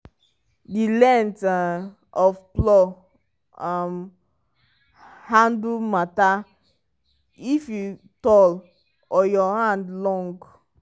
the length um of plow um handle matter if you tall or your hand long.